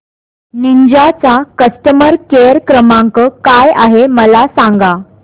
Ninja चा customer care क्रमांक काय आहे मला सांगा